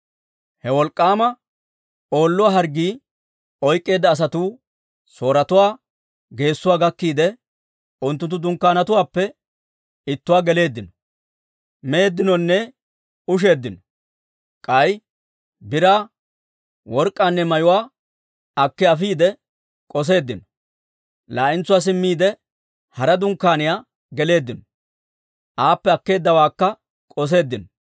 He wolk'k'aama Oolluwaa harggii oyk'k'eedda asatuu Sooretuwaa geessuwaa gakkiide, unttunttu dunkkaanetuwaappe ittuwaa geleeddino. Meeddinonne usheeddinonne; k'ay biraa, work'k'aanne mayuwaa akki afiide k'osseeddino. Laa"entsuwaa simmiide, hara dunkkaaniyaa geleeddino; aappe akkeeddawaakka k'osseeddino.